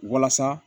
Walasa